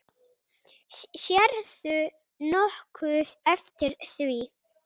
Sérðu nokkuð eftir því?